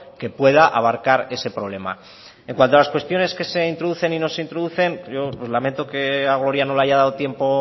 que pueda abarcar este problema en cuanto a las cuestiones que se introducen y no se introducen yo lamento que a gloria no le haya dado tiempo